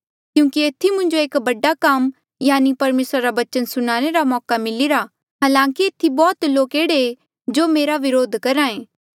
क्यूंकि एथी मुंजो एक बडा काम यानि परमेसर रा बचन सुनाणे रा मौका मिलिरा हालांकि एथी बौह्त लोक एह्ड़े जो मेरा व्रोध करहे